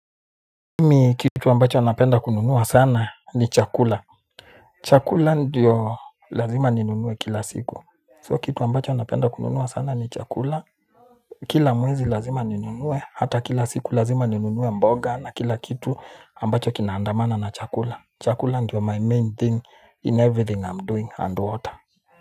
Mimi kitu ambacho napenda kununua sana ni chakula. Chakula ndio lazima ninunue kila siku. So kitu ambacho napenda kununua sana ni chakula. Kila mwezi lazima ninunue, hata kila siku lazima ninunue mboga na kila kitu ambacho kinaandamana na chakula. Chakula ndio my main thing in every thing am doing and water.